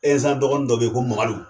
Ɛnzan dɔgɔni dɔ be ye ko mamadu